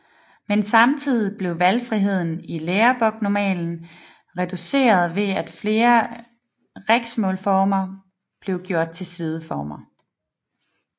Men samtidig blev valgfriheden i læreboknormalen reduceret ved at flere riksmålsformer blev gjort til sideformer